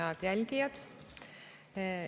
Head jälgijad!